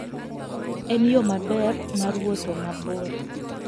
En yo maber mar wuotho mabor.